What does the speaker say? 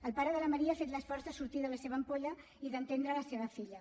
el pare de la maria ha fet l’esforç de sortir de la seva ampolla i d’entendre la seva filla